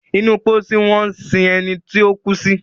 inú pósí wón sìn ení tíó kú sí.